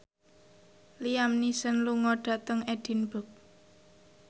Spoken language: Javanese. Liam Neeson lunga dhateng Edinburgh